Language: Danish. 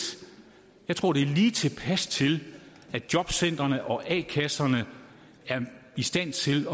jeg tror det er lige tilpas til at jobcentrene og a kasserne er i stand til